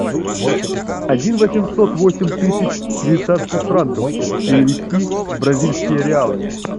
один восемьсот восемь тысяч швейцарских франков перевести в бразильские реалы